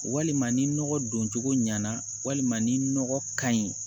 Walima ni nɔgɔ don cogo ɲana walima ni nɔgɔ ka ɲi